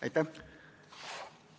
Aitäh!